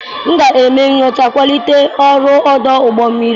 M ga-eme nyocha kwalite ọrụ ọdụ ụgbọ mmiri a.